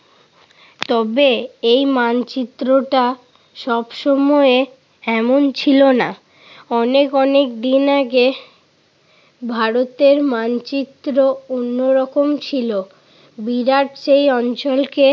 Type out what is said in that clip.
তবে এই মানচিত্রটা সবসময় এমন ছিল না। অনেক অনেক দিন আগে ভারতের মানচিত্র অন্যরকম ছিল। বিরাট সেই অঞ্চলকে